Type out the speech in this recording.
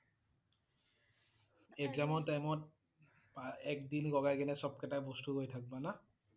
exam ৰ time ত এক দিন লগাই কেনে সব কেইটা বস্তু লৈ থাকিব না?